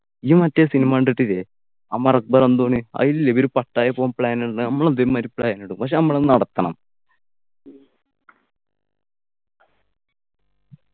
നീ മറ്റേ cinema കണ്ടിട്ടില്ലേ അമർ അക്ബർ അന്തോണി അയലില്ലേ ഇവര് പട്ടായ പോകാൻ plan ഇടുന്നെ നമ്മളും ഇതേമായിരി plan ഇടും പക്ഷെ നമ്മൾ അത് നടത്തണം